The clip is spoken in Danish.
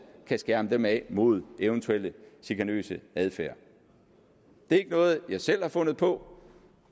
kan skærme dem af mod eventuel chikanøs adfærd det er ikke noget jeg selv har fundet på